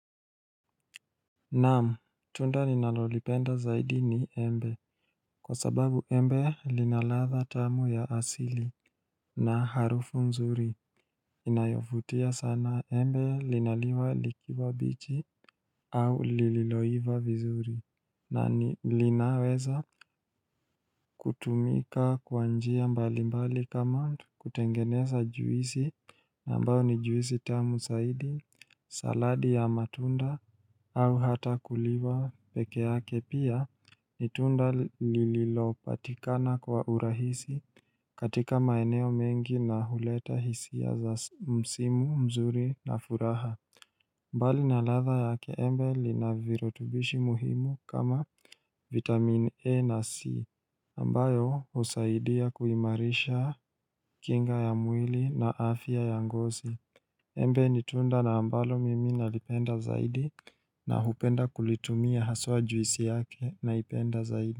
Naam, tunda ninalolipenda zaidi ni embe. Kwa sababu embe linaladha tamu ya asili na harufu mzuri. Inayofutia sana embe linaliwa likiwa bichi au lililoiva vizuri. Na linaweza kutumika kwa njia mbalimbali kama mtu kutengeneza juisi na ambayo ni juisi tamu zaidi, saladi ya matunda au hata kuliwa peke yake pia ni tunda lililopatikana kwa urahisi katika maeneo mengi na huleta hisia za msimu mzuri na furaha. Mbali na ladha yake embe linavirutubishi muhimu kama vitamin A na C, ambayo husaidia kuimarisha kinga ya mwili na afya ya ngozi. Embe ni tunda na ambalo mimi nalipenda zaidi na hupenda kulitumia haswa juisi yake naipenda zaidi.